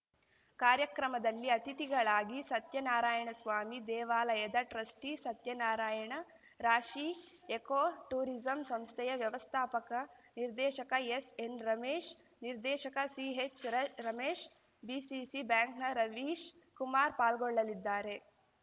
ಕಾರ್ಯಕ್ರಮದಲ್ಲಿ ಅತಿಥಿಗಳಾಗಿ ಸತ್ಯನಾರಾಯಣಸ್ವಾಮಿ ದೇವಾಲಯದ ಟ್ರಸ್ಟಿಸತ್ಯನಾರಾಯಣ ರಾಶಿ ಎಕೋ ಟೂರಿಸಂ ಸಂಸ್ಥೆಯ ವ್ಯವಸ್ಥಾಪಕ ನಿರ್ದೇಶಕ ಎಸ್‌ಎನ್‌ರಮೇಶ್‌ ನಿರ್ದೇಶಕ ಸಿಹೆಚ್‌ರ ರಮೇಶ್‌ ಬಿಸಿಸಿ ಬ್ಯಾಂಕ್‌ನ ರವೀಶ್‌ ಕುಮಾರ್ ಪಾಲ್ಗೊಳ್ಳಲಿದ್ದಾರೆ